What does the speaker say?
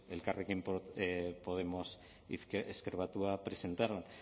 elkarrekin podemos ezker batua presentaron